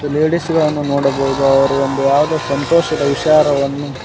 ಲೇಡಿಸ್ಗಳನ್ನು ನೋಡಬಹುದು ಅವರು ಒಂದು ಆದ ಸಂತೋಷದ ವಿಚಾರವನ್ನು--